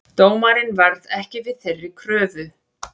Dómarinn varð ekki við þeirri kröfu